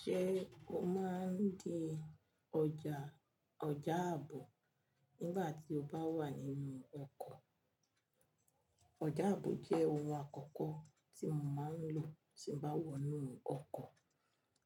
Ṣé o máa ń dín ọjà ọjà àbò nígbà tí o bá wà nínú ọkọ̀? Ọjà àbò jẹ́ ohun àkọ́kọ́ tí mo máa ń lò tí n bá wọ inú ọkọ̀,